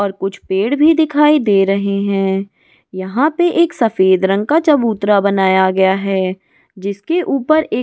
और कुछ पेड़ भी दिखाई दे रहे हैं यहां पर एक सफेद रंग का चबूतरा बनाया गया है जिसके ऊपर एक --